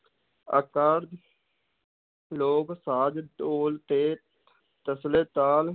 ਲੋਕ ਸਾਜ, ਢੋਲ ਤੇ ਤਸਲੇ ਤਾਲ,